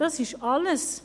Das ist alles.